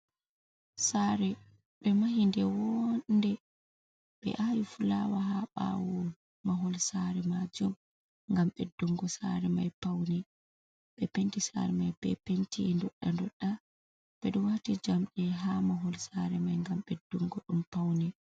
Sare ɓe mahi nde wo'nde ɓe awi fulawa ha ɓawo mahol sare majum ngam beddungo sare mai be paune. Sare mai be penti doɗɗe doɗɗe ɓeɗo waati jamɗe ha mahol sare mai ngam beddungo ɗum paune.